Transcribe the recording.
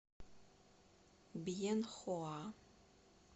бьенхоа